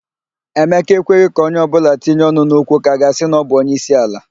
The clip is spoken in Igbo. Emeka ekweghị ka onye ọbụla tinye ọnụ n'okwu ka a ga-asị na ọbụ onyeisiala.